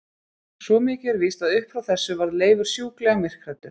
Svo mikið er víst að upp frá þessu varð Leifur sjúklega myrkhræddur.